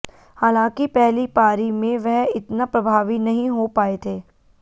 हालांकि पहली पारी में वह इतना प्रभावी नहीं हो पाए थे